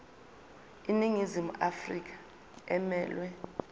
iningizimu afrika emelwe